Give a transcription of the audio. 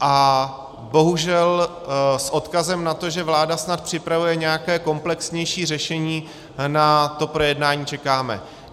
A bohužel s odkazem na to, že vláda snad připravuje nějaké komplexnější řešení, na to projednání čekáme.